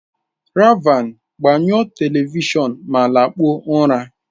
Raven, gbanyụọ Television ma lakpuo ụra!